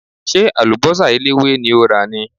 Ṣé àlùbọ́sà eléwé ni o rà ni?